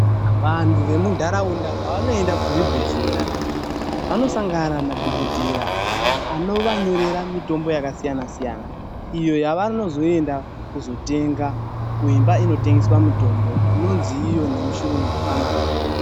Vandu vemundaraunda pavanoenda kuzvibhedhlera vanosangana nadhokotera anovanyorera mitombo yakasiyana- siyana iyo yavanoenda kuzotenga kuimba inotengesa mitombo inonzi nemuchirungu famasi.